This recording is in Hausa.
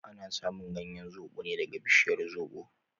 Ana samun ganyen zobo ne daga bishiyar zobo